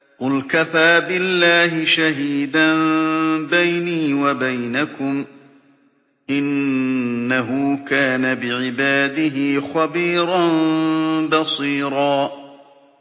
قُلْ كَفَىٰ بِاللَّهِ شَهِيدًا بَيْنِي وَبَيْنَكُمْ ۚ إِنَّهُ كَانَ بِعِبَادِهِ خَبِيرًا بَصِيرًا